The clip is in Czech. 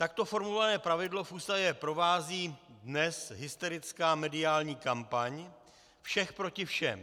Takto formulované pravidlo v Ústavě provází dnes hysterická mediální kampaň všech proti všem.